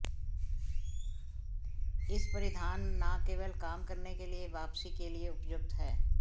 इस परिधान न केवल काम करने के लिए वापसी के लिए उपयुक्त है